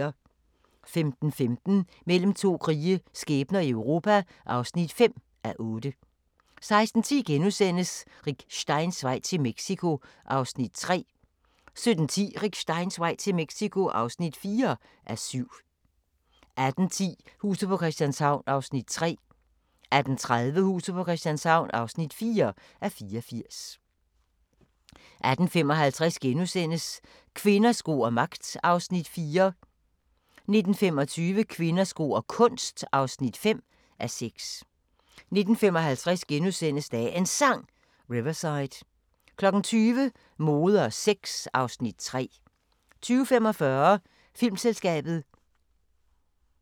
15:15: Mellem to krige – skæbner i Europa (5:8) 16:10: Rick Steins vej til Mexico (3:7)* 17:10: Rick Steins vej til Mexico (4:7) 18:10: Huset på Christianshavn (3:84) 18:30: Huset på Christianshavn (4:84) 18:55: Kvinder, sko og magt (4:6)* 19:25: Kvinder, sko og kunst (5:6) 19:55: Dagens Sang: Riverside * 20:00: Mode og sex (Afs. 3) 20:45: Filmselskabet